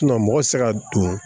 mɔgɔ tɛ se ka don